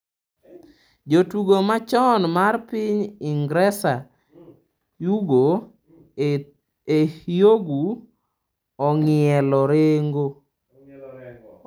Jatugo machon mar piny Ingresa Ugo Ehiogu ong'ielo rengo